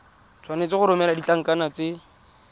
tshwanetse go romela ditlankana tse